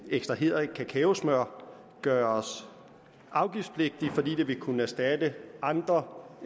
ekstraheret kakaosmør gøres afgiftspligtigt fordi det vil kunne erstatte andre